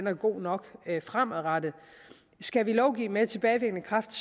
er god nok fremadrettet skal vi lovgive med tilbagevirkende kraft